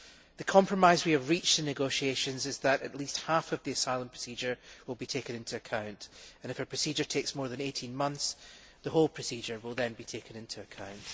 The compromise we have reached in the negotiations is that at least half of the asylum procedure will be taken into account and, if a procedure takes more than 18 months, the whole procedure will then be taken into account.